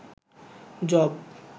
job